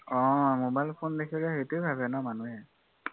অ mobile phone দেখিলে সেইটোৱে ভাবে ন মানুহে